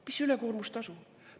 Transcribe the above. Mis ülekoormustasu?